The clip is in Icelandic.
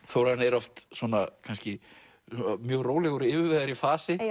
Þórarinn er oft kannski mjög rólegur og yfirvegaður í fasi